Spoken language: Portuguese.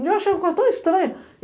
Eu achei uma coisa tão estranha.